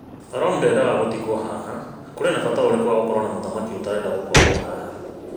Rom ndendaga gũtigwo haha, kũrĩ na bata ũrĩkũ wa gũkorwo na mũthaki ũtarenda gũkorwo haha?